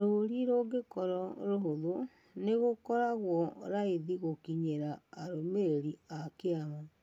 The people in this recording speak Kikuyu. Rũũri rũngĩkoro rũhũthũ, nĩ gũkoragwo raithi gũkinyĩra arũmĩrĩri a kĩama.